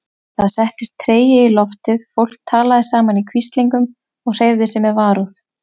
Það settist tregi í loftið, fólk talaði saman í hvíslingum og hreyfði sig með varúð.